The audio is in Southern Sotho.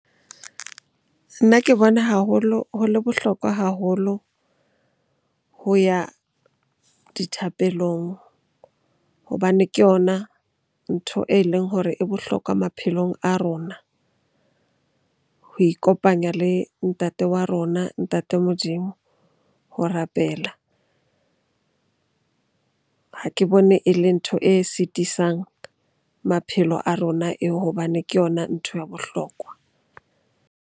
Nna ke bona haholo ho le bohlokwa haholo ho ya dithapelong hobane ke yona ntho e leng hore e bohlokwa maphelong a rona ho ikopanya le ntate wa rona, Ntate Modimo ho rapela. Ha ke bone e le ntho e sitisang maphelo a rona eo hobane ke yona ntho ya bohlokwa.